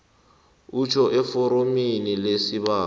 utjho eforomini lesibawo